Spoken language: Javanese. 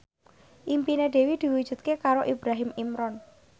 impine Dewi diwujudke karo Ibrahim Imran